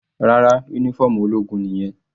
Rárá, uniform ológun nìyẹn.